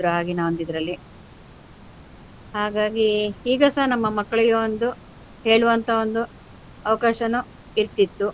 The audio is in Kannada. ಆಗಿನ ಒಂದು ಇದರಲ್ಲಿ. ಹಾಗಾಗಿ ಈಗ ಸಹ ನಮ್ಮ ಮಕ್ಕಳಿಗೆ ಒಂದು ಹೇಳುವಂತ ಒಂದು ಅವಕಾಶನು ಇರ್ತಿತ್ತು.